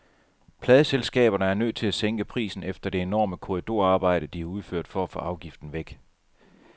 Pladeselskaberne er nødt til at sænke prisen efter det enorme korridorarbejde, de har udført for at få afgiften væk.